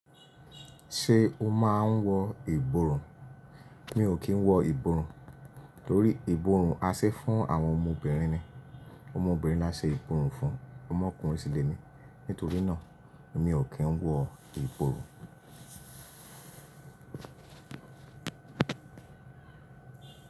Ṣé o máa ń wọ ìborùn? Mi ò kí ń wọ ìborùn, torí ìborùn a ṣe e fún àwọn ọmọ obìnrin ni. Ọmọ obìnrin ni a ṣe ìborùn fún, ọmọkùnrin sì lèmí. Nítorí náà, mi ò kí ń wọ ìborùn.